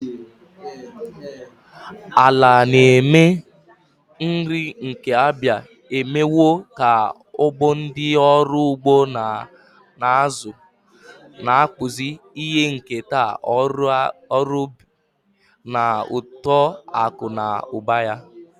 Ala na-eme nri nke Abia emewo ka ọgbọ ndị ọrụ ugbo na-azụ, na-akpụzi ihe nketa ọrụ ubi na uto akụ na ụba ya.